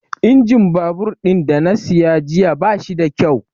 Injin babur ɗin da na siya jiya bashi da kyau